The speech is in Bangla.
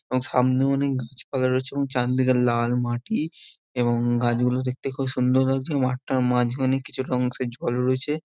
এবং সামনে অনেক গাছপালা রয়েছে চারদিকে লাল মাটি এবং গাছগুলো দেখতে খুব সুন্দর লাগছে মাঠটার মাঝখানে কিছু একটা অংশে জল রয়েছে